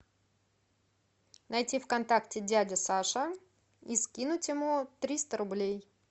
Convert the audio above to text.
найти в контакте дядя саша и скинуть ему триста рублей